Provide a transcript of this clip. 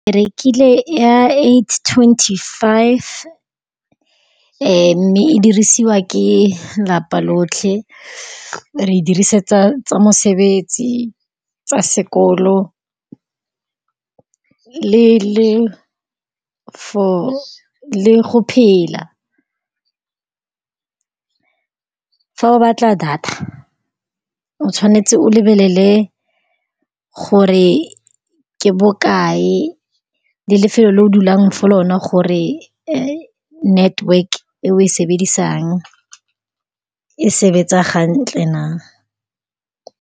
Ke rekile ya eight twenty-five, mme e dirisiwa ke lelapa lotlhe. Re e dirisetsa tsa mosebetsi, tsa sekolo, le-le for le go phela. Fa o batla data, o tshwanetse o lebelele gore ke bokae le lefelo le o dulang fo go lone, gore network-e e o e sebedisa e sebetsang hantle na.